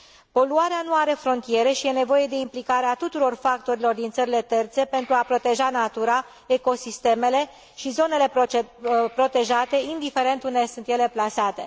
Poluarea nu are frontiere și e nevoie de implicarea tuturor factorilor din țările terțe pentru a proteja natura, ecosistemele și zonele protejate, indiferent unde sunt ele plasate.